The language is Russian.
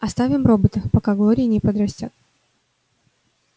оставим робота пока глория не подрастёт